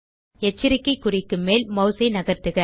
எச்சரிக்கை குறிக்கு மேல் மாஸ் ஐ நகர்த்துக